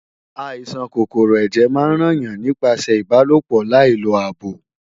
Àìsàn kòkòrò ẹ̀jẹ̀ máa ń ràn yàn nípasẹ̀ ìbálòpọ̀ láì lo ààbò